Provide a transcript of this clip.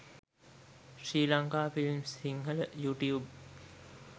sri lanka films sinhala youtube